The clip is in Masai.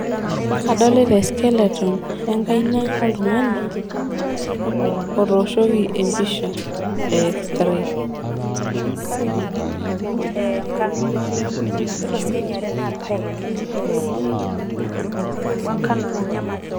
Kadolita e skeleton enkaina oltungani ootoshoki empisha e x-ray